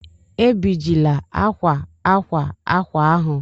Ebijila akwa akwa akwa ahụ!